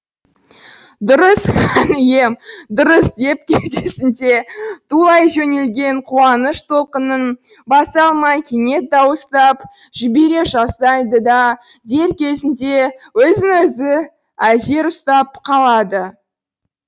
дұрыс хан ием дұрыс деп кеудесінде тулай жөнелген қуаныш толқынын баса алмай кенет дауыстап жібере жаздайды да дер кезінде өзін өзі әзер ұстап қалады